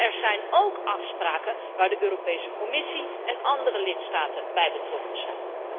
Maar er zijn ook afspraken waar de Europese Commissie en andere lidstaten bij betrokken zijn.